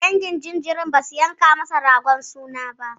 Dangin jinjirin basu yanka masa ragon suna ba.